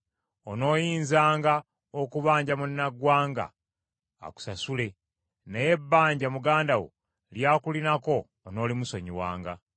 Onooyinzanga okubanja munnaggwanga akusasule , naye ebbanja muganda wo ly’akulinako onoolimusonyiwanga.